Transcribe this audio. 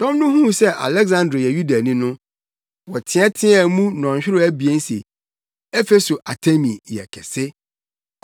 Dɔm no huu sɛ Aleksandro yɛ Yudani no, wɔteɛteɛ mu nnɔnhwerew abien se, “Efeso Artemi yɛ kɛse!”